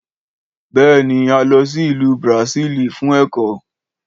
Béèni, a lọsí ìlú bràsílì fún èkọ́